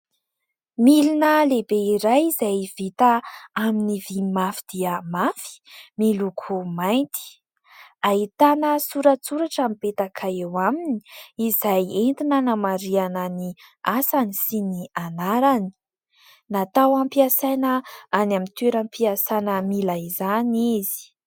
Milina lehibe iray izay vita amin'ny vy mafy dia mafy , miloko mainty, ahitana soratsoratra mipetaka eo aminy izay entina hanamariana ny asany sy ny anarany, natao ampiasaina any amin'ny toeram-piasana mila izany izy.